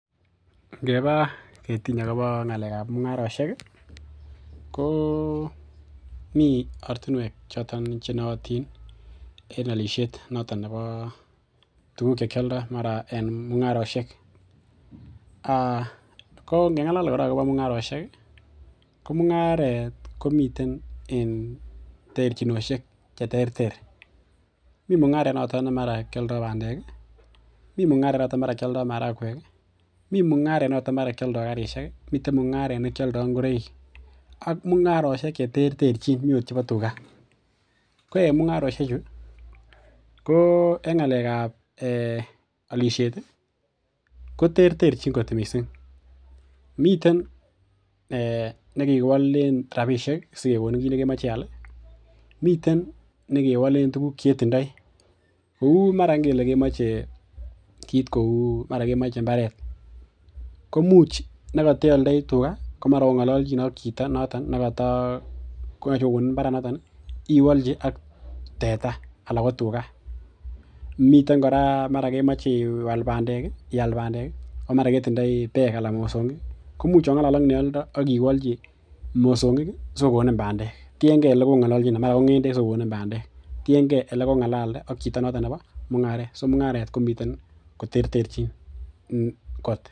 Ngeba ketiny agobo ngalekab mungarosiek komi ortinwek choton chenootin en alisiet noton nebo tuguk chekioldo noto nebo mungarosiek. Kongenalal kora agobo mungarosiek ko mungaret komten en terchinosiek cheterter. Mi mungaret noto ne mara kialdo bandek, mi mungaret noto ne mara kialdo marakwek, mi mungaret noto mara kialdo karisiek, miten mungaret nekioldo ngoroik, ak mungarosiek cheterterchin. Mi ogot chebo tuga. Ko en mungarosiechu ko en ngalekab alisiet koterterchin kot mising. Miten nekikiwolen rapisiek sikegonin kit nekemoche ial. Miten nekewolen tuguk che ketindoi kou mara ngele kemoche kit kou mara kemoche imbaret. Komuch ne kateoldoi tuga komara ongalalchine ak chito notok nekata, koyoche kogonin imbaranoto iwolchi ak teta ana ko tuga. Miten kora mara kemoche iwal bandek, iyal bandek komara ketindoi beek anan mosongik komuch ongalal ak neoldo ak iwolchi mosongik sigokonin bandek. Tienge negongalalchine. Mara ko ngendek sikogonin bandek. Tienge olekongalalde ak chito noto nebo mungaret. So mungaret ko miten koterterchin kot.